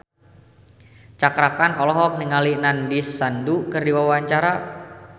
Cakra Khan olohok ningali Nandish Sandhu keur diwawancara